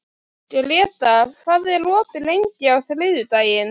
Grétar, hvað er opið lengi á þriðjudaginn?